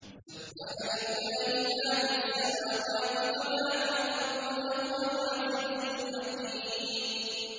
سَبَّحَ لِلَّهِ مَا فِي السَّمَاوَاتِ وَمَا فِي الْأَرْضِ ۖ وَهُوَ الْعَزِيزُ الْحَكِيمُ